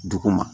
Dugu ma